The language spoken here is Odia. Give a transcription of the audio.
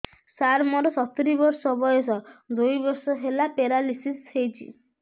ସାର ମୋର ସତୂରୀ ବର୍ଷ ବୟସ ଦୁଇ ବର୍ଷ ହେଲା ପେରାଲିଶିଶ ହେଇଚି